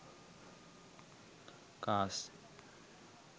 cars